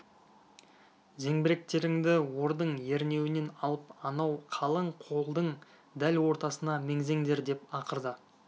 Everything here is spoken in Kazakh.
зеңбіректеріңді ордың ернеуінен алып анау қалың қолдың дәл ортасына меңзеңдер деп ақырды